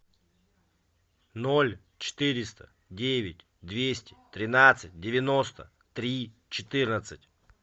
ноль четыреста девять двести тринадцать девяносто три четырнадцать